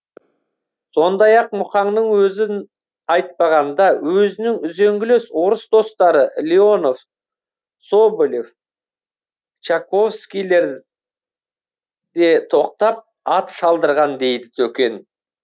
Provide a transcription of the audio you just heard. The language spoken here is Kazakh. сондай ақ мұқаңның өзін айтпағанда өзінің үзеңгілес орыс достары леонов соболев чаковскийлер де тоқтап ат шалдырған дейді төкен